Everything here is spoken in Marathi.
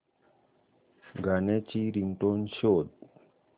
गाण्याची रिंगटोन शोध